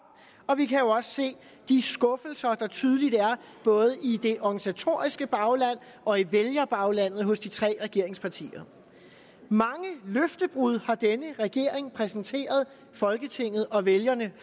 og vi kan jo også se de skuffelser der tydeligt er både i det organisatoriske bagland og i vælgerbaglandet hos de tre regeringspartier mange løftebrud har denne regering præsenteret folketinget og vælgerne